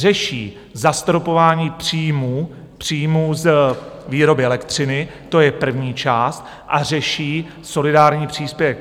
Řeší zastropování příjmů, příjmů z výroby elektřiny, to je první část, a řeší solidární příspěvek.